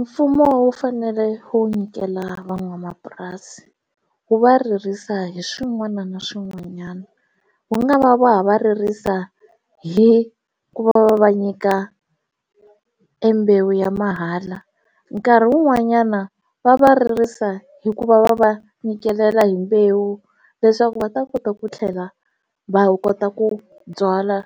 Mfumo wu fanele wu nyikela van'wamapurasi wu va ririsa hi swin'wana na swin'wanyana wu nga va va va ririsa hi ku va va nyika embewu ya mahala nkarhi wun'wanyana va va ririsa hikuva va va nyikela hi mbewu leswaku va ta kota ku tlhela va wu kota ku byala